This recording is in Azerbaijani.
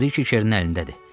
Brije Çernin əlindədir.